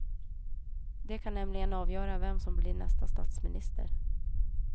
De kan nämligen avgöra vem som blir nästa statsminister.